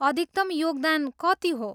अधिकतम योगदान कति हो?